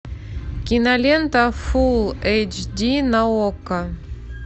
кинолента фулл эйч ди на окко